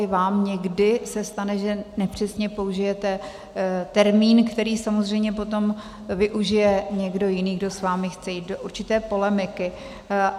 I vám někdy se stane, že nepřesně použijete termín, který samozřejmě potom využije někdo jiný, kdo s vámi chce jít do určité polemiky.